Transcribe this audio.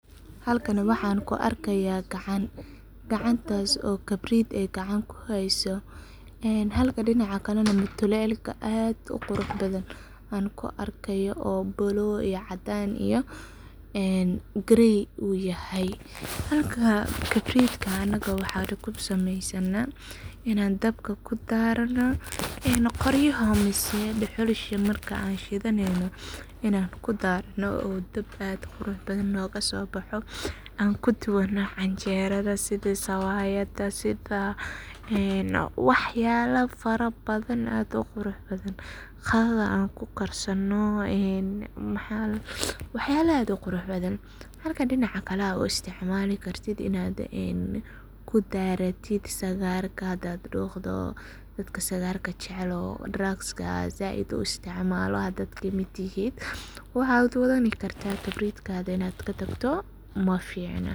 Halkani waxan ku arkeya gacan, gacantas oo kabrid gacan kuhayso, halka dinaca kalenah mutulelka aad uquruxbadhan anku arkayo oo blue, iyo caadan iyo grey uyahay, halka kibridka anaga waxan kusameysana inan dabka kudarano, qoryaha mise duxulaha markan shidaneyno inan kudarano oo dab ad uquraxbadhan nogaso boxo, ankudubano canjerada sidha sawayada, sidha waxyabo fara badhan aad uquraxbadhan, qadada anku karsano, waxyabo aad uquraxbadhan. Halka dinaca kale ad uistacmali kartit kudaratit sagarka hadad duqdo, dadka sagarka jecel oo dragska said uu istacmalan hadad kamid tihid, waxad wadhani karta kabridkadha inad katagto maficno.